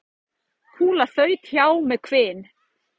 Kúla þaut hjá með hvin.